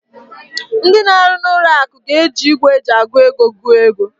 Ndị na-arụ n'ụlọ akụ ga-eji igwe eji agụ ego gụọ ego.